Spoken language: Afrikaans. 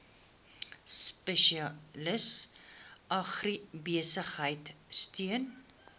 spesialis agribesigheid steun